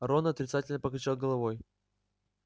рон отрицательно покачал головой